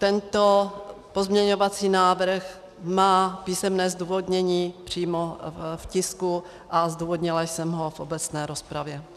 Tento pozměňovací návrh má písemné zdůvodnění přímo v tisku a zdůvodnila jsem ho v obecné rozpravě.